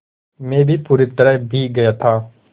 मैं भी पूरी तरह भीग गया था